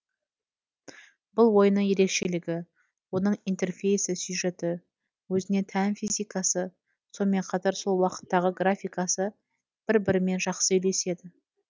бұл ойынның ерекшелігі оның интерфейсы сюжеті өзіне тән физикасы сонымен қатар сол уақыттағы графикасы бір бірімен жақсы үйлеседі